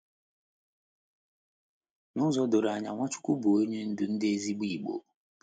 N’ụzọ doro anya, Nwachukwu bụ Onye Ndú ndị ezigbo Igbo.